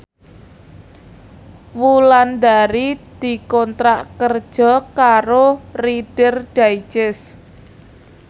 Wulandari dikontrak kerja karo Reader Digest